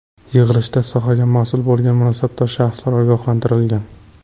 Yig‘ilishda sohaga mas’ul bo‘lgan mansabdor shaxslar ogohlantirilgan.